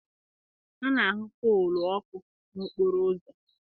A na-ahụ poolu ọkụ n'okporo ụzọ